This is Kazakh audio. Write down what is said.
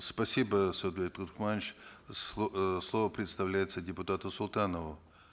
спасибо э слово предоставляется депутату султанову